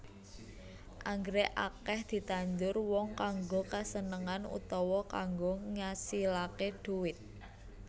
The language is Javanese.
Anggrèk akèh ditandur wong kanggo kasenengan utawa kanggo ngasilaké dhuwit